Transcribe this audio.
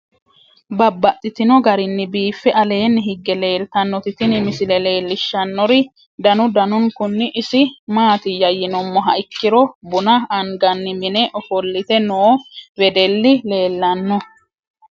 Babaxxittinno garinni biiffe aleenni hige leelittannotti tinni misile lelishshanori danu danunkunni isi maattiya yinummoha ikkiro bunna anganni minne offolitte noo wedelli leelanno.